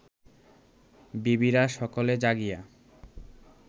বিবিরা সকলে জাগিয়া